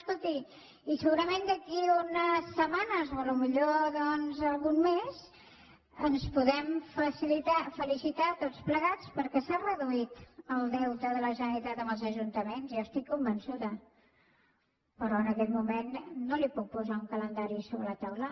escolti i segurament d’aquí a unes setmanes o potser doncs un mes ens podem felicitar tots plegats perquè s’ha reduït el deute de la generalitat amb els ajuntaments jo n’estic convençuda `però en aquest moment no li puc posar un calendari sobre la taula